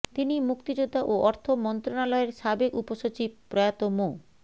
তিনি মুক্তিযোদ্ধা ও অর্থ মন্ত্রণালয়ের সাবেক উপসচিব প্রয়াত মো